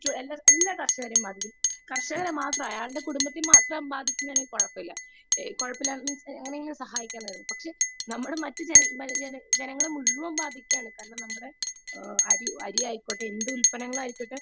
Speaker 2 എല്ലാ കർഷകരെയും ബാധിക്കും കർഷകരെ മാത്രമല്ല അയാളെ കുടുംബത്തെയും മാത്രമാണ് എങ്കിൽ കുഴപ്പമില്ല എങ്ങെനെയെങ്കിലും അയാളെ സഹായിക്കാം . പക്ഷെ നമ്മളെ മറ്റുള്ള ജനങ്ങളെയെല്ലാം മുഴുവൻ ബാധിക്കുകയാണ് കാരണം നമ്മുടെ അരി ആയിക്കോട്ടെ എന്ത് ഉത്പന്നങ്ങൾ ആയിക്കോട്ടെ